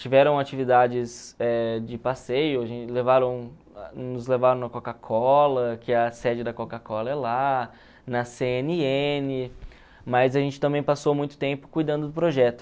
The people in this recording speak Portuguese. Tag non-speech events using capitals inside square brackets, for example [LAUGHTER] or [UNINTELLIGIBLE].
Tiveram atividades eh de passeio, [UNINTELLIGIBLE] levaram nos levaram na Coca-Cola, que a sede da Coca-Cola é lá, na ce ene ene, mas a gente também passou muito tempo cuidando do projeto.